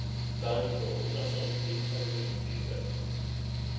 Davíð Þór Rúnarsson minnkaði muninn fyrir Fjölni.